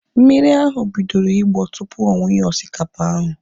Mmiri ahu bidoro ịgbọ tupu ọ wunye osikapa ahu